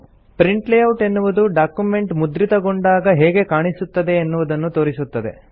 print layout ಎನ್ನುವುದು document ಮುದ್ರಿತಗೊಂಡಾಗ ಹೇಗೆ ಕಾಣಿಸುತ್ತದೆ ಎನ್ನುವುದನ್ನು ತೋರಿಸುತ್ತದೆ